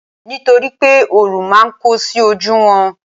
nitoripe orun ma n ko sí oju won